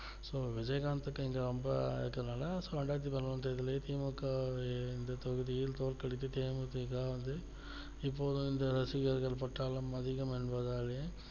so Vijayakanth இங்க ரொம்ப இருக்குனால so ரெண்டாயிரத்தி பதிநோன்னுலையே தி மு க வை இந்த தொகுதியில் தோற்க்கடித்து தே மு தி க இப்போது வந்து ரசிகர்கள் பட்டாலும் அதிகம் என்பதாலேயும்